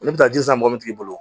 Ne bɛ taa ji san mɔbilitigi bolo